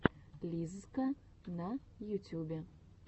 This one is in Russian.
лиззка на ютюбе